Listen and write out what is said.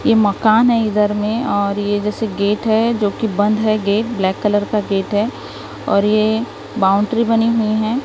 ये मकान है इधर में और ये जैसे गेट है जो कि बंद है गेट ब्लैक कलर का गेट है और ये बाउंड्री बनी हुई है।